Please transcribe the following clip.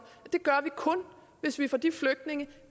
det gør vi kun hvis vi får de flygtninge